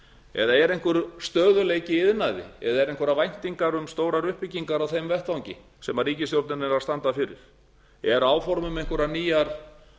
eða er einhver stöðugleiki í iðnaði eða eru einhverjar væntingar um stórar uppbyggingar á þeim vettvangi sem ríkisstjórnin er að standa fyrir eru áform um einhverjar nýjar